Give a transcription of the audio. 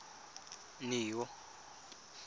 neo